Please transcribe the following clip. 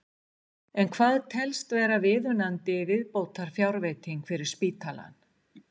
En hvað telst vera viðunandi viðbótarfjárveiting fyrir spítalann?